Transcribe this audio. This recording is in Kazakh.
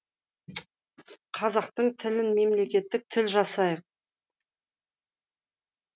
қазақтың тілін мемлекеттік тіл жасайық